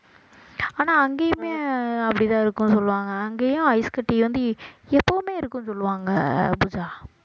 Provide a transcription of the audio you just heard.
ஆனா அங்கேயுமே அப்படித்தான் இருக்கும்னு சொல்லுவாங்க அங்கேயும் ஐஸ்கட்டி வந்து எப்பவுமே இருக்கும்னு சொல்லுவாங்க பூஜா